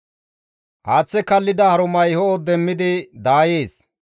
Haaththa kallida harumay ho7o demmidi daayees;